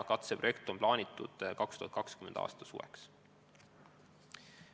Katseprojekt on plaanitud 2020. aasta suveks.